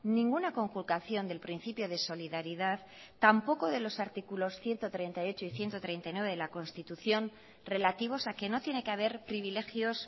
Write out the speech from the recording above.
ninguna conculcación del principio de solidaridad tampoco de los artículos ciento treinta y ocho y ciento treinta y nueve de la constitución relativos a que no tiene que haber privilegios